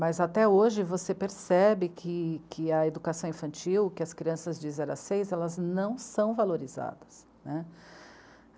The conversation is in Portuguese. Mas até hoje você percebe que a educação infantil, que, que as crianças de zero a seis, elas não são valorizadas, né.